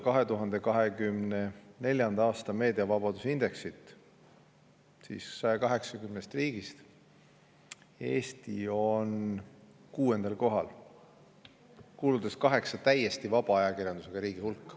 2024. aasta meediavabaduse indeksis on Eesti 180 riigi seas kuuendal kohal, kuuludes kaheksa täiesti vaba ajakirjandusega riigi hulka.